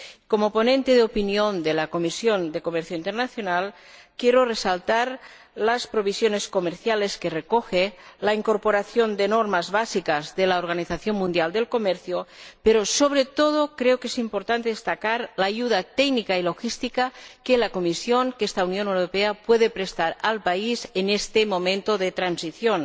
Como ponente de opinión de la Comisión de Comercio Internacional, quiero resaltar las provisiones comerciales que recoge y la incorporación de normas básicas de la Organización Mundial de Comercio pero, sobre todo, creo que es importante destacar la ayuda técnica y logística que la Comisión, que esta Unión Europea, puede prestar al país en este momento de transición.